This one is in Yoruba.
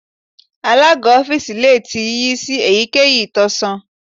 Alaga ọfiisi le ti yiyi si eyikeyi itọsọn